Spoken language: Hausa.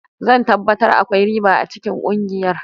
Zan tabbatar akwai riba a cikin kungiyar.